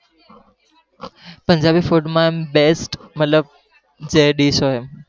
Punjabi food માં best મતલબ જે dish હોય,